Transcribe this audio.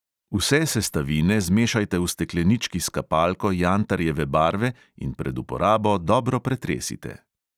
Vse sestavine zmešajte v steklenički s kapalko jantarjeve barve in pred uporabo dobro pretresite.